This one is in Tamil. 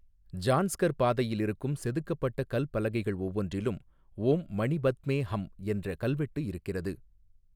ஜான்ஸ்கர் பாதையில் இருக்கும் செதுக்கப்பட்ட கல் பலகைகள் ஒவ்வொன்றிலும் ஓம் மணி பத்மே ஹம் என்ற கல்வெட்டு இருக்கிறது .